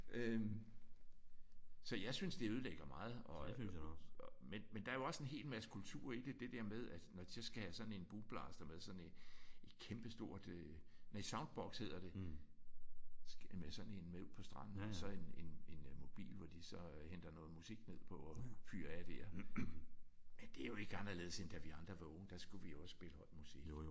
Øh så jeg synes det ødelægger meget og men der er også en helt masse kultur i det. Det der med at når de så skal have sådan en boomblaster med sådan en et kæmpe stort nej Soundboks hedder det og så skal have med sådan en med ud på stranden. Og så sådan en en en mobil hvor de henter noget musik ned på og fyrer af der. Men det er jo ikke anderledes end da vi andre var unge. Der skulle vi også spille høj musik